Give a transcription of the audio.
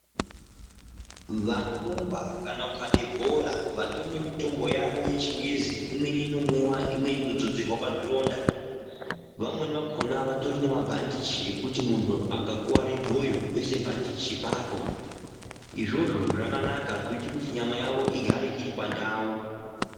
Vanorumba kana kukhabe bhora vanotori nemitombo yavo yechingezi. Imweni inomwiwa, imweni inodzodzerwa pazvironda. Vamweni vakhona vatori nemabhandichi ekuti muntu akakuwara dhoyo voise bhandichi pona apapo. Izvozvo zvakanaka ngekuti zvinoite kuti nyama dzigare dziri pandau.